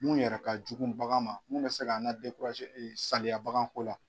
Mun yɛrɛ ka jugu bagan ma mun bɛ se k'a na saleya baganko la.